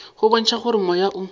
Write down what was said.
go bontšha gore moya o